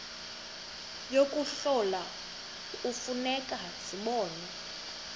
yokuhlola kufuneka zibonwe